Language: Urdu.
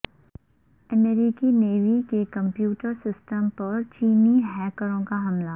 امریکی نیوی کے کمپیوٹر سسٹم پر چینی ہیکروں کا حملہ